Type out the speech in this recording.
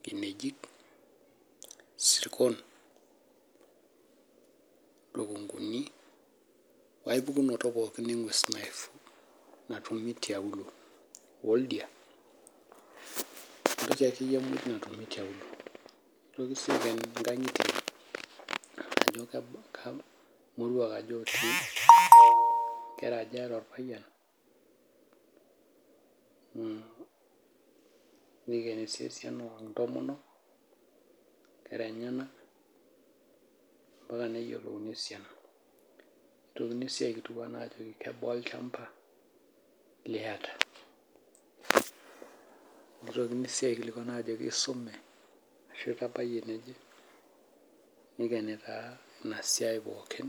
nkinajik isrkon , lukunguni wae pukunoto pookin engwes natumia tiauluo, woldia , entoki akeyie natumi tiauluo . Nitoki sii aiken nkangitie ajo kaja irmoruak otii , nkera aja eeta orpayian , nikeni sii esiana ontomonok , nkera enyenak mpaka neyiolouni esiana , nitokini sii aikilikwan ajo kebaa olchamba liata , nitokini sii aikilikwan ajo isume , niken taa inasiai pookin.